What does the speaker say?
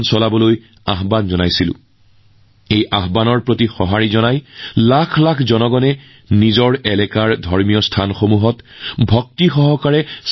মোৰ ভাল লাগিল যে লাখ লাখ মানুহে ভক্তিৰে যোগদান কৰি নিজৰ অঞ্চলৰ ধৰ্মীয় স্থান পৰিষ্কাৰ কৰিলে